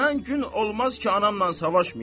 Mən gün olmaz ki, anamla savaşmayım.